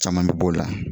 Caman bɛ b'o la